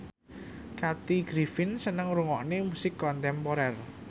Kathy Griffin seneng ngrungokne musik kontemporer